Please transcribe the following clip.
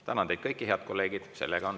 Tänan teid kõiki, head kolleegid!